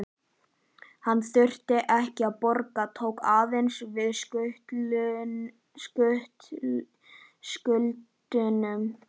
Hann þurfti ekkert að borga, tók aðeins við skuldunum.